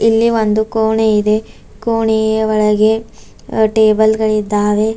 ಇಲ್ಲಿ ಒಂದು ಕೋಣೆ ಇದೆ ಕೋಣೆಯ ಒಳಗೆ ಟೇಬಲ್ ಗಳಿದ್ದಾವೆ.